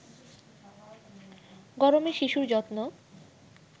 গরমে শিশুর যত্ন